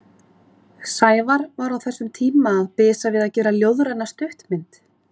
Sævar var á þessum tíma að bisa við að gera ljóðræna stuttmynd.